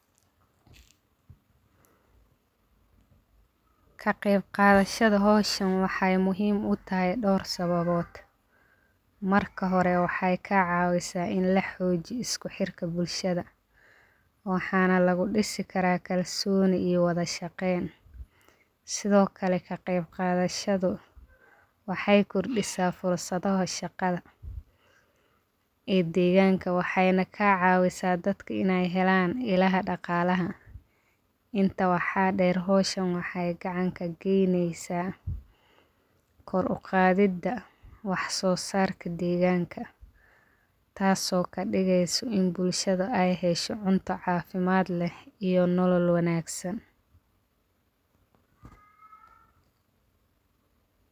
Kaqeb qadashada hishan waxee muhiim utahay dor sababod marka hore waxee ka cawisa in laxojiyo isku xirka bulshaada waxana lagu disi kara kalsoni iyo wadha shaqen sithokale kaqeb qadashadhu waxee kordisa fursadaha shaqada ee deganka waxena ka cawisa dadka in ee helan ilaha daqalaha inta waxaa deer hosham waxee gacan kageynesa kor uqadida wax sosarka deganka taso kadigeso in bulshaada ee hesho cunto cafimaad leh iyo nolol wanagsan.